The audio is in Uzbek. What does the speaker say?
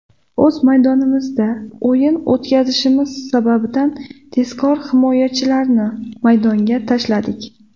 O‘z maydonimizda o‘yin o‘tkazishimiz sababidan tezkor himoyachilarni maydonga tashladik.